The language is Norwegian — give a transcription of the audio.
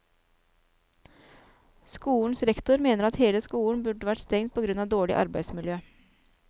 Skolens rektor mener at hele skolen burde vært stengt på grunn av dårlig arbeidsmiljø.